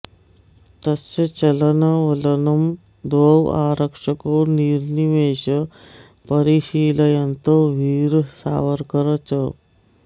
तस्य चलनवलनं द्वौ आरक्षकौ निर्निमेषं परिशीलयन्तौ वीर सावरकर च